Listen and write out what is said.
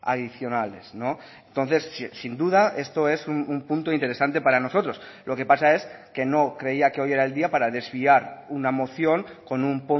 adicionales entonces sin duda esto es un punto interesante para nosotros lo que pasa es que no creía que hoy era el día para desviar una moción con un